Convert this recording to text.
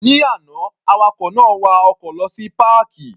Ní àná, awakọ̀ náà wa ọkọ̀ lọ sí páàkì.